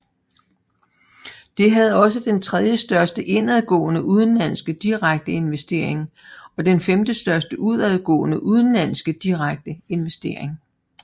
Det havde også den tredjestørste indadgående udenlandske direkte investering og den femtestørste udadgående udenlandske direkte investering